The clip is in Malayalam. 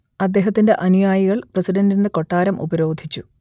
അദ്ദേഹത്തിന്റെ അനുയായികൾ പ്രസിഡന്റിന്റെ കൊട്ടാരം ഉപരോധിച്ചു